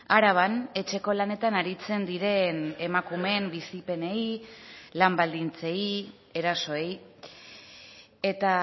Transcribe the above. araban etxeko lanetan aritzen diren emakumeen bizipenei lan baldintzei erasoei eta